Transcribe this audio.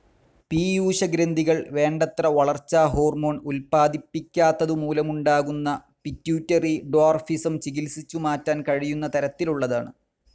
പീയൂഷഗ്രന്ഥികൾ വേണ്ടത്ര വളർച്ചാ ഹോർമോണും ഉത്പാദിപ്പിക്കാത്തതുമൂലമുണ്ടാകുന്ന പിറ്റ്യൂട്ടറി ഡ്വാർഫിസം ചികിത്സിച്ചു മാറ്റാൻ കഴിയുന്ന തരത്തിലുള്ളതാണ്.